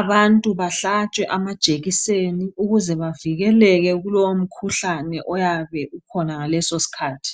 abantu bahlatshwe amajekiseni ukuz bavikeleke kuolowo mkhuhlane oyabe ukhona ngalesosikhathi